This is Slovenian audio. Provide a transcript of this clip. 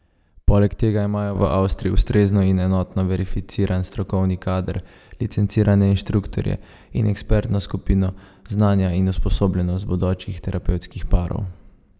Poleg tega imajo v Avstriji ustrezno in enotno verificiran strokovni kader, licencirane inštruktorje in ekspertno skupino, znanja in usposobljenost bodočih terapevtskih parov.